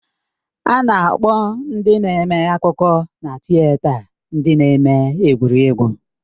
A na-akpọ ndị na-eme akụkọ na tịeta ndị na-eme egwuregwu.